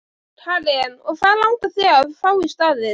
Karen: Og hvað langar þig að fá í staðinn?